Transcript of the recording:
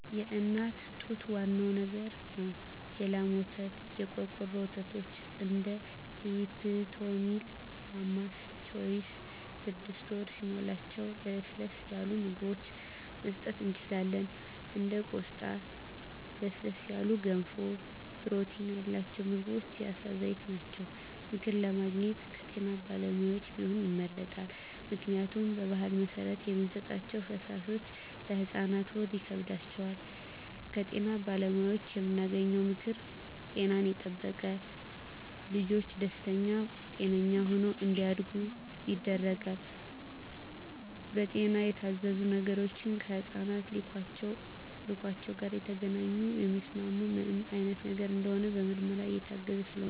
የእናት ጡት ዋናው ነገር ነው የላም ወተት , የቆርቆሮ ወተቶች እንደ ሊፕቶሚል ማማስ ቾይዥ ስድስት ወር ሲሞላቸው ለስለስ ያሉ ምግብችን መስጠት እንችላለን እንደ ቆስጣ ለስለስ ያሉ ገንፎ ፕሮቲን ያላቸው ምግቦች የአሳ ዘይት ናቸው። ምክር ለማግኘት ከጤና ባለሙያዎች ቢሆን ይመረጣል ምክንያቱም በባህል መሰረት የምንሰጣቸዉ ፈሳሾች ለህፃናት ሆድ ይከብዳቸዋል። ከጤና ባለሙያዎች የምናገኘው ምክር ጤናን የጠበቀ ልጅች ደስተኛ ጤነኛ ሆነው እንዳድጉ ያደርጋል። በጤና የታዘዙ ነገሮች ከህፃናት ኪሏቸው ጋር የተገናኘ የሚስማማቸው ምን አይነት ነገር እንደሆነ በምርመራ የታገዘ ስለሆነ